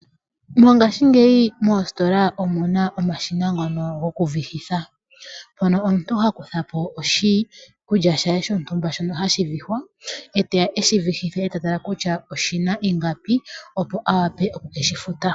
Mongaashingeyi moositola omuna omashina ngono goku vihitha. Mono omuntu ha kutha po oshikulya she shontumba shono hashi vihwa, eteya eshi vihithe atale kutya oshina ingapi, opo awape oku shi futa.